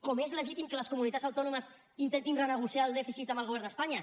com també és legítim que les comunitats autònomes intentin renegociar el dèficit amb el govern d’espanya